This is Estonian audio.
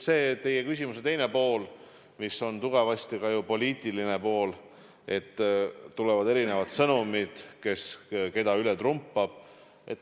Teie küsimuse teine pool, millel on tugevasti ka poliitiline pool, oli, et tulevad erinevad sõnumid, et kes keda üle trumpab.